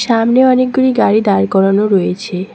সামনে অনেকগুরি গাড়ি দাঁড় করানো রয়েছে।